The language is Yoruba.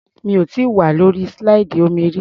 Mi ò tíì wà lórí slide omi rí.